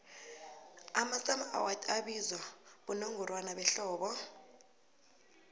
amasummer awards abizwa bonongorwana behlobo